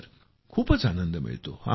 जी खूपच आनंद मिळतो